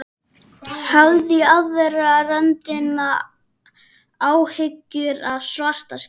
Hafði í aðra röndina áhyggjur af Svartskegg.